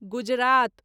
Gujarat